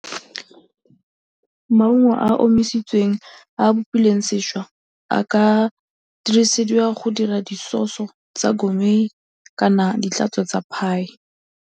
Maungo a a omisitsweng a a bopilweng sešwa a ka dirisediwa go dira di-sauce-o tsa kana ditlhatswa tsa pie.